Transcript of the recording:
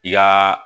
I ka